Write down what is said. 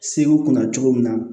Segu kunna cogo min na